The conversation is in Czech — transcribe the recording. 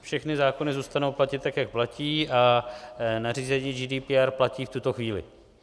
Všechny zákony zůstanou platit tak, jak platí, a nařízení GDPR platí v tuto chvíli.